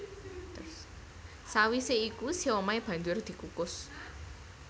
Sawisé iku siomai banjur dikukus